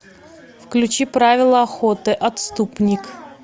включи правила охоты отступник